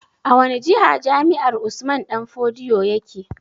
A wani jiha jami'ar Usman danfodiyo yake?